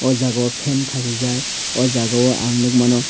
oh jagao fan kasijak oh jaga o ang nukmano.